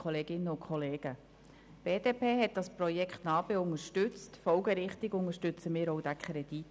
Die BDP hat das Projekt NA-BE unterstützt, folgerichtig unterstützen wir auch den Kredit.